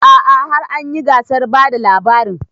A'a har anyi gasar bada labarin